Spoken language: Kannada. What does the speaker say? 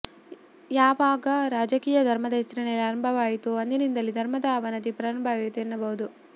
ಯಾವಾಗ ರಾಜಕೀಯ ಧರ್ಮದ ಹೆಸರಿನಲ್ಲಿ ಆರಂಭವಾಯಿತೋ ಅಂದಿನಿಂದಲೇ ಧರ್ಮದ ಅವನತಿ ಪ್ರಾರಂಭವಾಯಿತು ಎನ್ನಬಹುದು